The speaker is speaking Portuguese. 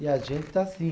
E a gente está assim.